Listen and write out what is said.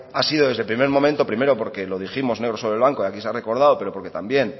ha sido desde el primer momento primero porque lo dijimos negro sobre blanco y aquí se ha recodado pero porque también